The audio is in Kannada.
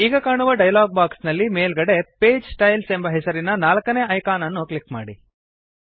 ಈಗ ಕಾಣುವ ಡಯಲಾಗ್ ಬಾಕ್ಸ್ ನಲ್ಲಿ ಮೇಲ್ಗಡೆ ಪೇಜ್ ಸ್ಟೈಲ್ಸ್ ಎಂಬ ಹೆಸರಿನ ನಾಲ್ಕನೇ ಐಕಾನ್ ಅನ್ನು ಕ್ಲಿಕ್ ಮಾಡಿ